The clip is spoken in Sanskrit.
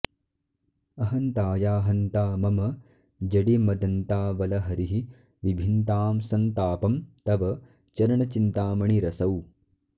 अहन्ताया हन्ता मम जडिमदन्तावलहरिः विभिन्तां सन्तापं तव चरणचिन्तामणिरसौ